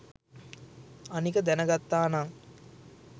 අනික දැනගත්තානං